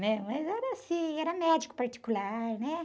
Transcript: né? Mas era assim, era médico particular, né?